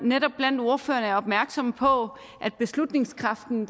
netop blandt ordførerne opmærksomme på at beslutningskraften